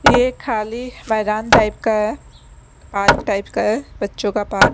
ये खाली मैदान टाइप का है पार्क टाइप का है पार्क टाइप बच्चों का पार्क --